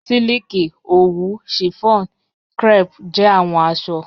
Silikì, owù, chiffon, crêpe jẹ awọn aṣọ